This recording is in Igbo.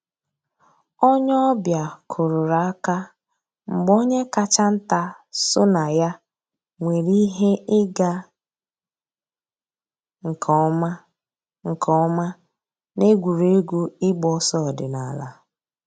Ònyè ọ̀ bịa kùrùrù àkà mgbè ònyè káchà ńtà sọnà yà nwèrè íhè ị̀gà nkè ǒmà nkè ǒmà n'ègwè́régwụ̀ ị̀gba òsọ̀ òdìnàlà.